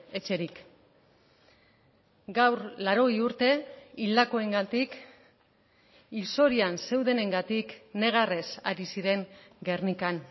etxerik gaur laurogei urte hildakoengatik hil zorian zeudenengatik negarrez ari ziren gernikan